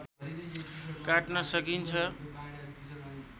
काट्न सकिन्छ